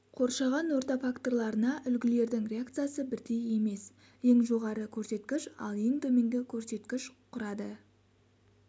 қоршаған орта факторларына үлгілердің реакциясы бірдей емес ең жоғары көрсеткіш ал ең төменгі көрсеткіш құрады